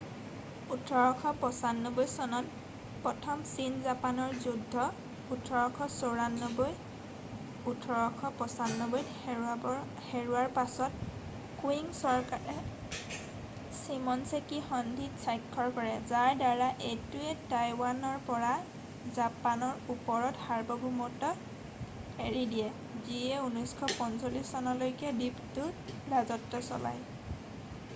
1895 চনত প্ৰথম ছীন-জাপানৰ যুদ্ধ 1894-1895 ত হৰুৱাৰ পাছত কুয়িং চৰকাৰে ছিম'নছেকি সন্ধিত স্বাক্ষৰ কৰে যাৰ দ্বাৰা এইটোৱে টাইৱানৰ পৰা জাপানৰ ওপৰত সাৰ্বভৌমত্ব এৰি দিয়ে যিয়ে 1945 চনলৈকে দ্বীপটোত ৰাজত্ব চলাই৷